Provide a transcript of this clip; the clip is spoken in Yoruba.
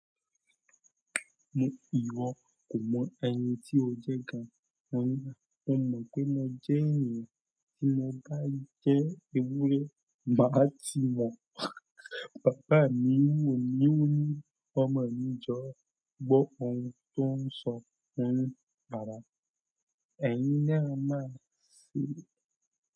Ìwọ kò mọ ẹni tí ó jẹ́ gan. Mo mo pe mo je ènìyàn, nínú ka je ewúrẹ́ baba ti mo bàbá mi wò mí wò ní ọmọ. Jọ̀ọ́ gbọ́ ohun tó ń sọ, òun padà. Ẹ̀yin ni a máa ṣe.